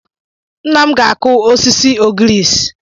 Nna m ga-akụ sisi ogriisi.